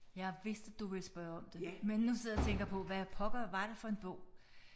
Jeg vidste du ville spørge om det. Men nu sidder jeg og tænker på hvad pokker var det for en bog